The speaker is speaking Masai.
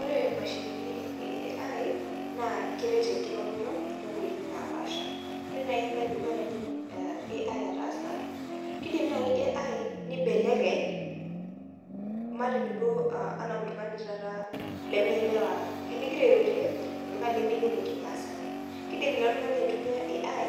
Ore imashinini eh AI naa keret enkiroroto tonkoitoi napaasha ore naaji embaye edukuya naidim AI ataasa kidim naaji AI nibelekeny matejo duo uh anaa oltung'ani taata leme elewa tinigira airorie oltung'ani lemeyiolo kimasae kidim ilo tung'ani aitumia AI